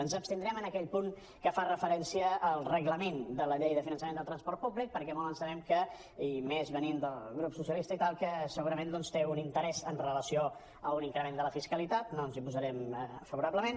ens abstindrem en aquell punt que fa referència al reglament de la llei de finan·çament del transport públic perquè molt ens temem i més venint del grup socialis·ta i tal que segurament doncs té un interès amb relació a un increment de la fisca·litat no ens hi posarem favorablement